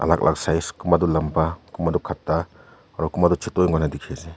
Lak lak size kunpa tu lampa kunbah tu khata aro kun pah tu choto he panai dekhe ase.